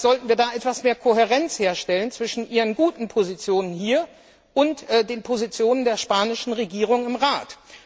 Vielleicht sollten Sie da etwas mehr Kohärenz herstellen zwischen ihren guten Positionen hier und den Positionen der spanischen Regierung im Rat.